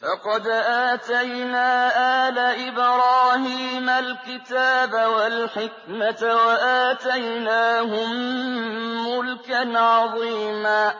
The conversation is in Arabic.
فَقَدْ آتَيْنَا آلَ إِبْرَاهِيمَ الْكِتَابَ وَالْحِكْمَةَ وَآتَيْنَاهُم مُّلْكًا عَظِيمًا